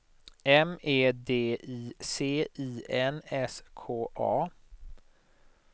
M E D I C I N S K A